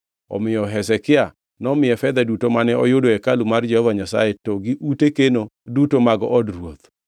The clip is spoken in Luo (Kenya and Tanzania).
Omiyo Hezekia nomiye fedha duto mane oyud e hekalu mar Jehova Nyasaye to gi ute keno duto mag od ruoth.